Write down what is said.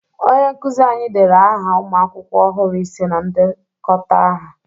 Onye nkụzị anyị dere aha ụmụ akwụkwọ ọhụrụ ise na ndekọta aha.